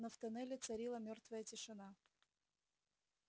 но в тоннеле царила мёртвая тишина